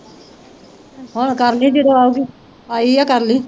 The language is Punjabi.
ਹੁਣ ਕਰ ਲਈ ਜਦੋਂ ਆਊਗੀ, ਆਈ ਹੈ ਕਰ ਲਈ।